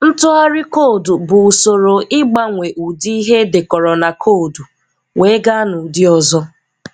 Ntụgharị koodu bụ ụsoro ị gbanwee ụdị ihe e dekoro na koodu wee gáá n'ụdị ọzọ.